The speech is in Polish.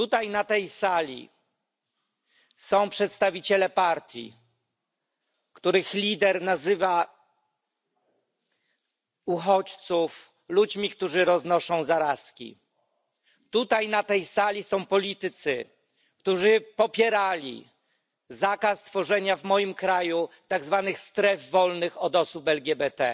Na tej sali są przedstawiciele partii, której lider nazywa uchodźców ludźmi roznoszącymi zarazki. Na tej sali są politycy, którzy popierali zakaz tworzenia w moim kraju tzw. stref wolnych od osób LGBT.